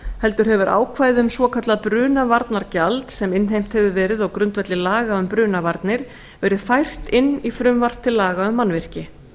heldur hefur ákvæði um svokallað brunavarnagjald sem innheimt hefur verið á grundvelli laga um brunavarnir verið fært inn í frumvarp til laga um mannvirki